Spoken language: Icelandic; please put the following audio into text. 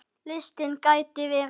Listinn gæti verið lengri.